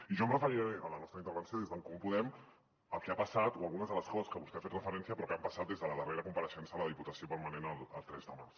i jo em referiré en la nostra intervenció des d’en comú podem al que ha passat o a algunes de les coses a què vostè ha fet referència però que han passat des de la darrera compareixença a la diputació permanent el tres de març